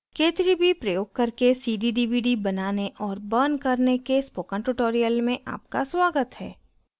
k3b प्रयोग करके cd/dvd बनाने और burning करने के spoken आपका स्वागत है